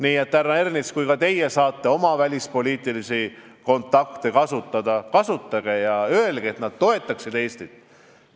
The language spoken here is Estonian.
Nii et, härra Ernits, kui ka teie saate oma välispoliitilisi kontakte kasutada, siis kasutage ja paluge, et nad toetaksid Eestit.